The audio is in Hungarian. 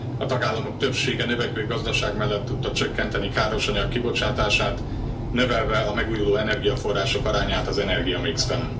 A tagállamok többsége növekvő gazdaság mellett tudta csökkenteni károsanyag kibocsátását, növelve a megújuló energiaforrások arányát az energiamixben.